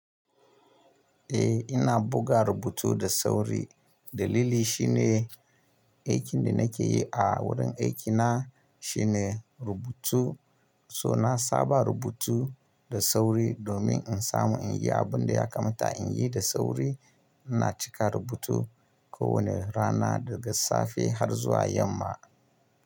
Eh ina buga rubutu da sauri. Dalili shine aikin da nake yi a wurin aikina shine rubutu. So na saba rubutu da sauri domin in samu in yi abin da ya kamata in yi da sauri. Ina cika rubutu kowane rana daga safe har zuwa yamma.